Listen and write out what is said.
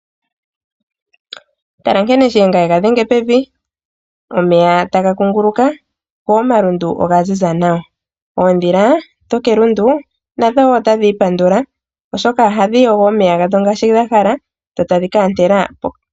Tala nkene shiyenga ye ga dhenge pevi. Omeya taga kunguluka go omalundu oga ziza nawa. Oondhila dhokelundu nadho woo otadhi ipandula oshoka ohadhi yogo omeya gadho ngaashi dha hala dho tadhi ka ontela okamutenya.